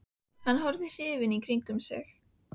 Hann horfði hrifinn í kringum sig.